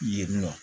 Yen nɔ